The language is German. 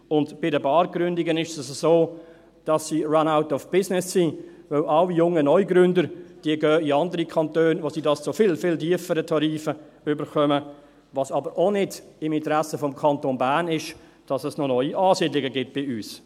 Bei den Bargründungen ist es so, dass sie «run out of business» sind, weil alle jungen Neugründer in andere Kantone gehen, wo sie dies zu viel, viel tieferen Tarifen bekommen, was aber auch nicht im Interesse des Kantons Bern ist, damit es noch neue Ansiedlungen gibt bei uns.